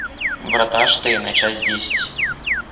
врата штейна часть десять